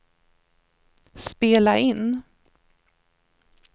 spela in